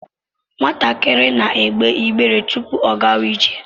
Nwatakịrị na-egbe igbe tupu ọ gaa ije